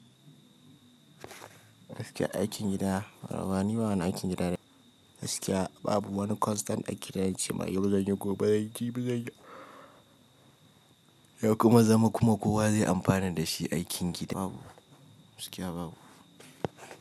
Suke aikin gida, amma niba wani aikin gida da gaskiya babu wani constant aikin da zan ce ma yau zan yi gobe zan yi, ba zan yi ba zan yi. Ya kuma zama kuma kowa zai amfana da shi aikin gida babu, gaskiya babu.